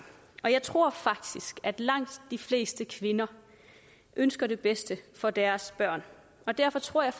og jeg tror faktisk at langt de fleste kvinder ønsker det bedste for deres børn og derfor tror jeg